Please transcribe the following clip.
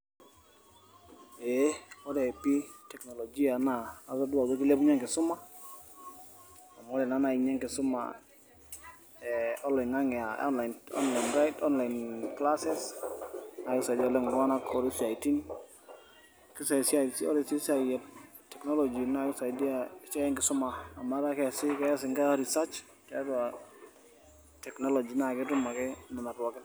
eeh ore pii teknolojia naa atodua ajo kilepunye enkisuma, amu ore naa naai ninye enkisuma eeh oloing'ang'e aa online online online clases naa kisaidia oleng iltung'anak otii siaitin , kisai... ore sii esiai eeh technology naa kisaidia esiai enkisuma amuu etaa keesi kees nkera reaserch tiatu technology naa ketum ake nena pookin.